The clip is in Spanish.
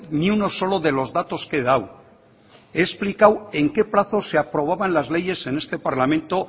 ni uno solo de los datos que he dado he explicado en qué plazo se aprobaban las leyes en este parlamento